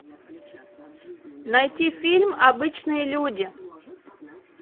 найти фильм обычные люди